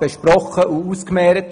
besprochen und haben darüber abgestimmt.